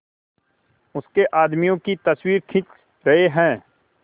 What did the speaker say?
उसके आदमियों की तस्वीरें खींच रहे हैं